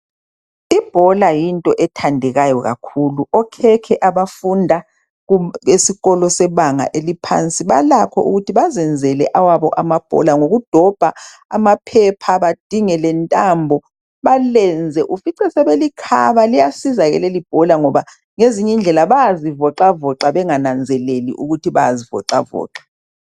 Ibhola yinto ethandekayo kakhulu. Okhekhe abafunda kum... esikolo sebanga iliphansi balakho ukuthi bazenzele awabo amabhola ngokudobha amaphepha badinge lentambo balenze ufice sebelikhaba. Liyasiza ke lelibhola ngoba ngezinyi ndlela bayazivoxavoxa bengananzeleli ukuthi bayazivoxavoxa.